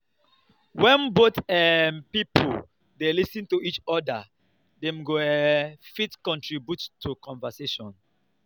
when both um pipo dey lis ten to each oda dem go um fit contribute to conversation